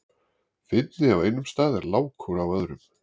Fyndni á einum stað er lágkúra á öðrum.